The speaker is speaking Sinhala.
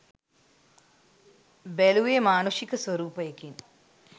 බැලුවේ මානුෂික ස්වරූපයකින්